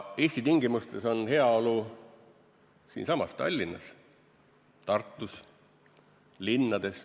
Eesti tingimustes on heaolu siinsamas Tallinnas, Tartus, linnades.